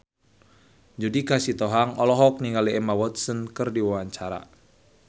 Judika Sitohang olohok ningali Emma Watson keur diwawancara